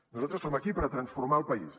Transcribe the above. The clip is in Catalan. nosaltres som aquí per a transformar el país